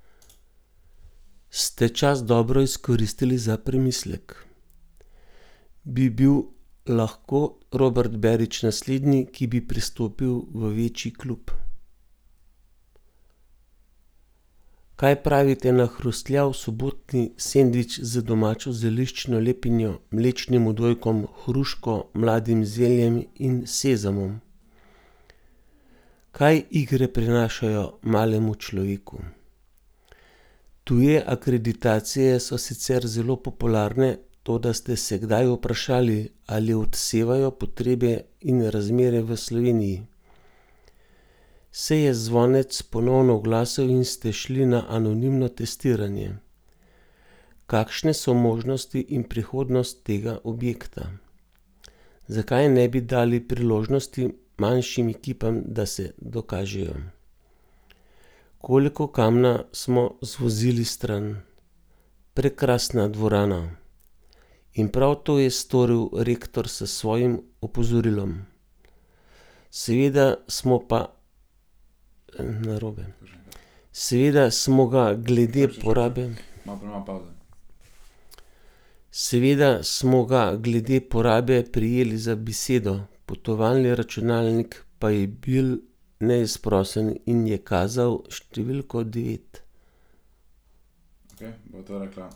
Kakšne so možnosti in prihodnost tega objekta?